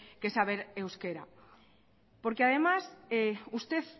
que saber euskera porque además usted